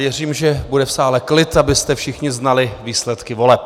Věřím, že bude v sále klid, abyste všichni znali výsledky voleb.